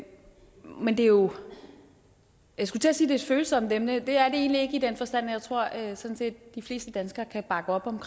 men det er jo et følsomt emne at det er det egentlig ikke i den forstand at jeg tror at sådan set de fleste danskere kan bakke op om